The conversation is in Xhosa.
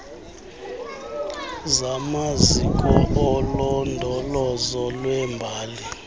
zamaziko olondolozo lwembali